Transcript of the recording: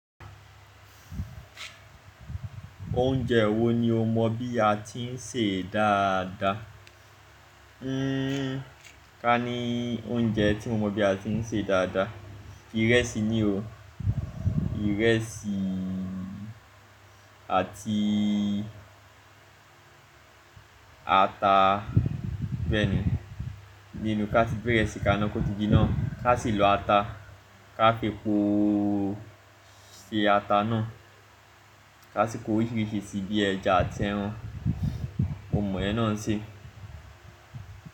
Oúnjẹ wo ni o mọ bí a ti ń sè dáadáa? Hmmm, ká ní oúnjẹ tí mo mọ bí a ti ń sè dáadáa, ìrẹsì ni o. Ìrẹsì àti ata bẹ́ẹ̀ni. Ní ìlú ká ti gbé ìrẹsì kaná kótí jinà, ká sì lo ata, ká fepóó ṣe ata náà, ká sì kó oríṣìíríṣìí sí bi ẹja àti ẹran. Mo mọ yen nà ṣe.